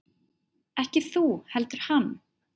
Ekki þú heldur hann.